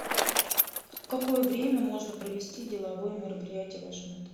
в какое время можно провести деловое мероприятие в вашем отеле